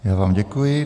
Já vám děkuji.